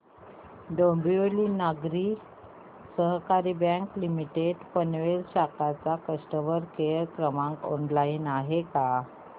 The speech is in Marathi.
डोंबिवली नागरी सहकारी बँक लिमिटेड पनवेल शाखा चा कस्टमर केअर क्रमांक ऑनलाइन आहे का